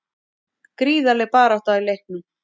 Gríðarleg barátta í leiknum